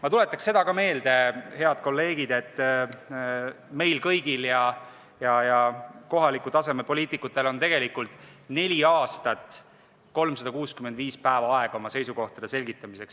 Ma tuletan ka seda meelde, head kolleegid, et meil kõigil ja kohaliku taseme poliitikutel on tegelikult neli aastat, neli korda 365 päeva aega oma seisukohtade selgitamiseks.